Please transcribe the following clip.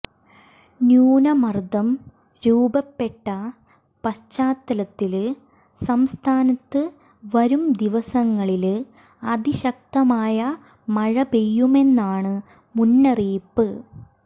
ന്യൂനമര്ദം രൂപപ്പെട്ട പശ്ചാത്തലത്തില് സംസ്ഥാനത്ത് വരും ദിവസങ്ങളില് അതിശക്തമായ മഴപെയ്യുമെന്നാണ് മുന്നറിയിപ്പ്